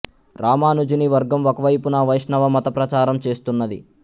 రామానుజుని వర్గం ఒక వైపున వైష్ణవ మత ప్రచారం చేస్తున్నది